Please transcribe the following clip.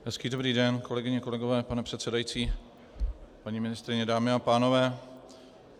Hezký dobrý den, kolegyně, kolegové, pane předsedající, paní ministryně, dámy a pánové.